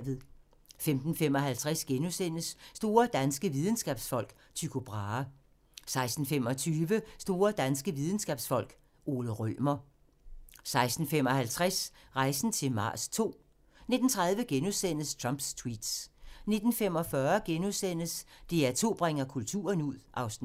15:55: Store danske Videnskabsfolk: Tycho Brahe * 16:25: Store danske videnskabsfolk: Ole Rømer 16:55: Rejsen til Mars II 19:30: Trumps tweets * 19:45: DR2 bringer kulturen ud (Afs. 3)*